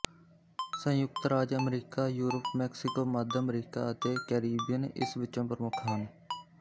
ਸੰਯੁਕਤ ਰਾਜ America Europe Mexico ਮੱਧ ਅਮਰੀਕਾ ਅਤੇ ਕੈਰੇਬੀਅਨ ਇਸ ਵਿੱਚੋ ਪ੍ਰਮੁੱਖ ਹਨ